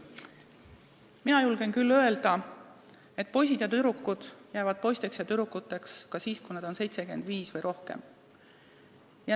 Mina julgen küll öelda, et poisid ja tüdrukud jäävad poisteks ja tüdrukuteks ka siis, kui nad on 75 või vanemad.